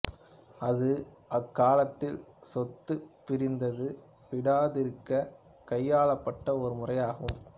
அது அக்காலத்தில் சொத்து பிரிநது விடாதிருக்க கையாளப்பட்ட ஓர் முைறயாகும்